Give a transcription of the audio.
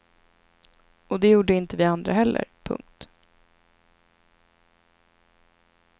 Och det gjorde inte vi andra heller. punkt